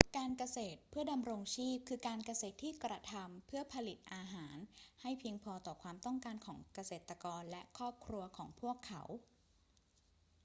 การเกษตรเพื่อดำรงชีพ คือการเกษตรที่กระทำพื่อผลิตอาหารให้เพียงพอต่อความต้องการของเกษตรกรและครอบครัวของพวกเขา